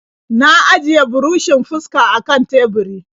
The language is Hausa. Na ajiye burushin fuskar a kan teburi.